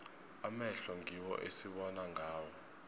amehlo ngiwo esibona ngawo